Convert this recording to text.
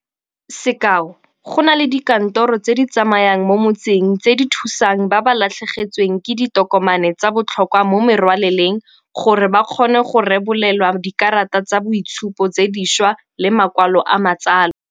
Sekao, go na le dikantoro tse di tsamayang mo motseng tse di thusang ba ba latlhegetsweng ke ditokomane tsa botlhokwa mo merwaleleng gore ba kgone go rebolelwa dikarata tsa boitshupo tse dišwa le makwalo a matsalo.